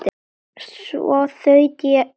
Svo þaut ég á eftir